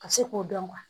Ka se k'o dɔn wa